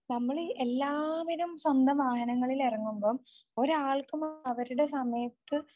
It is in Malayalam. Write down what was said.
നമ്മൾ ഈ എല്ലാവരും സ്വന്തം വാഹനങ്ങളിൽ ഇറങ്ങുമ്പോൾ ഒരാൾക്കും അവരുടെ സമയത്തു